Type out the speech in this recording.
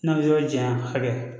N'a bɛ yɔrɔ janya hakɛ